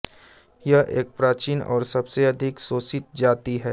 यह एक प्राचीन और सबसे अधिक शोषित जाति है